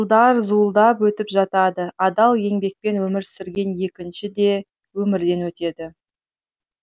жылдар зуылдап өтіп жатады адал еңбекпен өмір сүрген егінші де өмірден өтеді